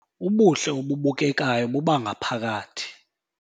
Ubuhle obubukekayo bobangaphakathi